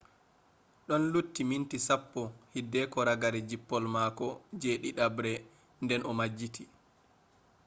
ɗon lutti minti sappo hideko ragare jippol mako je ɗiɗaɓre nden o majjiti